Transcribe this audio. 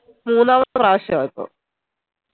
മൂന്നാമത്തെ പ്രാവശ്യ ഇപ്പോ